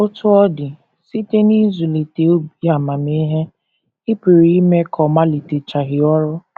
Otú ọ dị, site n’ịzụlite “ obi amamihe, ” ị pụrụ ime ka ọ maliteghachi ọrụ.